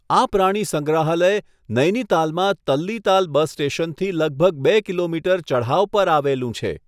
આ પ્રાણી સંગ્રહાલય નૈનીતાલમાં તલ્લીતાલ બસ સ્ટેશનથી લગભગ બે કિલોમીટર ચઢાવ પર આવેલું છે.